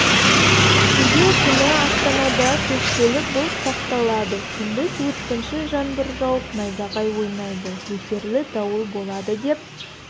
шілде күні астанада көшпелі бұлт сақталады күндіз өткінші жаңбыр жауып найзағай ойнайды нөсерлі дауыл болады деп